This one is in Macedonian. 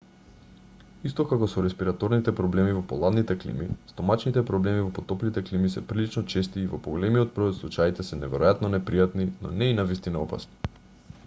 исто како со респираторните проблеми во поладните клими стомачните проблеми во потоплите клими се прилично чести и во поголемиот број од случаите се неверојатно непријатни но не и навистина опасни